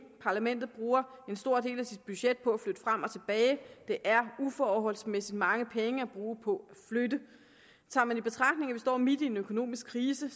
parlamentet bruger en stor del af sit budget på at flytte frem og tilbage det er uforholdsmæssigt mange penge at bruge på at flytte tager man i betragtning at vi står midt i en økonomisk krise